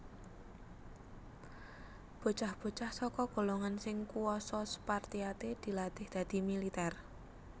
Bocah bocah saka golongan sing kuasa Spartiate dilatih dadi militèr